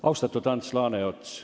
Austatud Ants Laaneots!